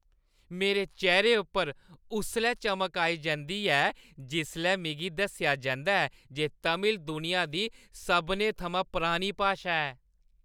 मेरे चेह्‌रे उप्पर उसलै इक चमक आई जंदी ऐ जिसलै मिगी दस्सेआ जंदा ऐ जे तमिल दुनिया दी सभनें थमां पुरानी भाशा ऐ।